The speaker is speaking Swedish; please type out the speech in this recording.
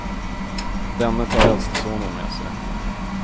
Denne tar äldste sonen med sig.